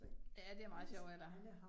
Ja, det er meget sjovt af dig